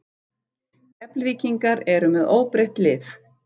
Keflvíkingar eru með óbreytt lið.